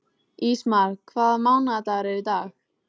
Ísmar, hvaða mánaðardagur er í dag?